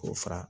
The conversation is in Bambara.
K'o fara